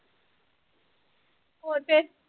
ਹੋਰ ਫੇਰ?